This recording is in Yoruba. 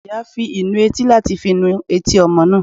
Iyá fí ìnù etí latí fí nù etí ọmọ náá